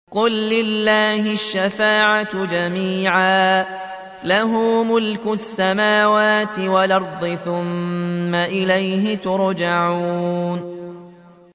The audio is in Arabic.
قُل لِّلَّهِ الشَّفَاعَةُ جَمِيعًا ۖ لَّهُ مُلْكُ السَّمَاوَاتِ وَالْأَرْضِ ۖ ثُمَّ إِلَيْهِ تُرْجَعُونَ